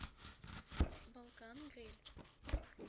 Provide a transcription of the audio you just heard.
балкан гриль